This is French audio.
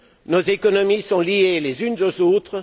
Nos économies sont liées les unes aux autres.